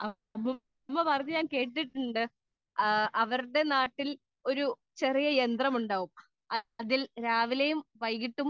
speaker 2 പണ്ട് എന്റെ ഉമ്മ പറഞ്ഞു കേട്ടിട്ടുണ്ട് അവരുടെ നാട്ടിൽ ഒരു ചെറിയ യന്ത്രമുണ്ടാവും അതിൽ രാവിലെയും വൈകിട്ടും